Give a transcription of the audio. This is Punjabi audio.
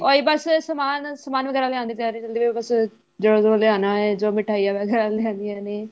ਉਹੀ ਬੱਸ ਸਮਾਨ ਸਮਾਨ ਵਗੈਰਾ ਲਿਆਉਣ ਦੀ ਤਿਆਰੀ ਚੱਲਦੀ ਪਈ ਏ ਬੱਸ ਜਿਹੜਾ ਜੁਹ੍ੜਾ ਲਿਆਣਾ ਏ ਜੋ ਮਿੱਠਾਈਆਂ ਵਗੈਰਾ ਲਿਆਨੀਆਂ ਨੇ